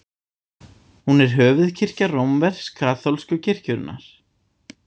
Hún er höfuðkirkja rómversk-kaþólsku kirkjunnar.